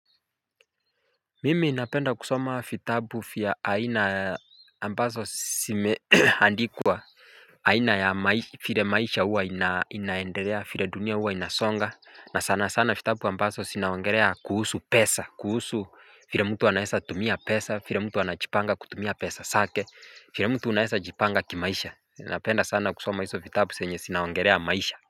Mimi napenda kusoma vitabu vya aina ambavzo zimeandikwa. Aina ya vile maisha huwa inaendelea vile dunia huwa inasonga. Na sana sana vitabu ambazo zinaongelea kuhusu pesa kuhusu vile mtu anaweza tumia pesa vile mtu anajipanga kutumia pesa zake vile mtu unaweza jipanga kimaisha napenda sana kusoma hizo vitabu zenye zinaongelea maisha.